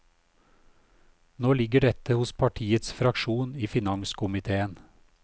Nå ligger dette hos partiets fraksjon i finanskomitéen.